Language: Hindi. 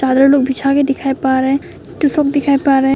सारे लोग बिछा के दिखाई पा रहे हैं सब दिखाई पा रहे हैं।